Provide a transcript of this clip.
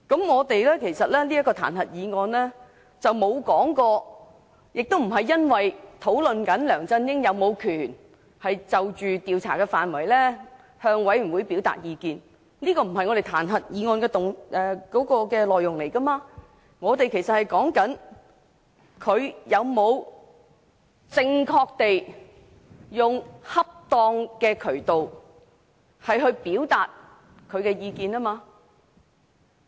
我們的彈劾議案不是討論梁振英是否有權就調查範圍向專責委員會表達意見，這不是彈劾議案的內容，我們討論的是他有否正確地用恰當的渠道表達意見。